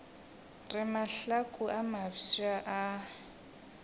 re mahlaku a mafsa a